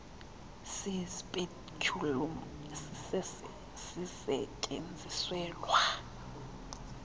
si speculum sisestyenziselwa